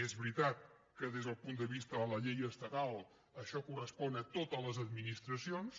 és veritat que des del punt de vista de la llei estatal això correspon a totes les administracions